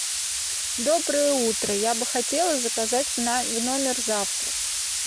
доброе утро я бы хотела заказать в номер завтрак